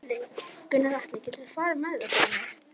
Gunnar Atli: Geturðu farið með það fyrir mig?